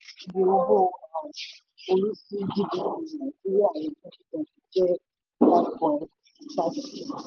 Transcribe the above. oecd iye owó um orí sí gdp nàìjíríà ní 2020 jẹ́ five point five percent.